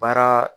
Baara